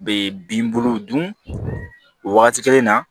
Be bin buluw dun o wagati kelen na